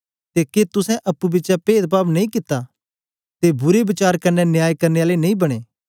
ते के तुसें अप्पुं बिचें पेद पाव नेई कित्ता ते बुरे वचार कन्ने न्याय करने आले नेई बनें